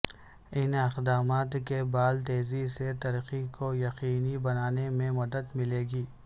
ان اقدامات کے بال تیزی سے ترقی کو یقینی بنانے میں مدد ملے گی